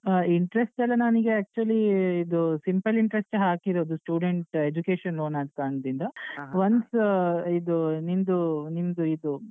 ಆ Interest ಎಲ್ಲಾ ನನಿಗೆ actually ಇದು simple Interest ಯೆ ಹಾಕಿರುದು student education loan ಆದ್ ಕಾರಣದಿಂದ ಇದು ನಿಮ್ದು ನಿಮ್ದು ಇದು ಆ.